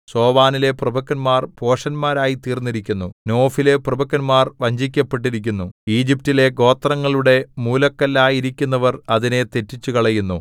സോവനിലെ പ്രഭുക്കന്മാർ ഭോഷന്മാരായിത്തീർന്നിരിക്കുന്നു നോഫിലെ പ്രഭുക്കന്മാർ വഞ്ചിക്കപ്പെട്ടിരിക്കുന്നു ഈജിപ്റ്റിലെ ഗോത്രങ്ങളുടെ മൂലക്കല്ലായിരിക്കുന്നവർ അതിനെ തെറ്റിച്ചുകളഞ്ഞു